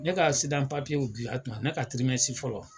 Ne ka papiyew dilan tuma, a ne ka fɔlɔ